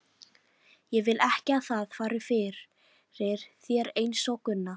Ég vil ekki að það fari fyrir þér einsog Gunna.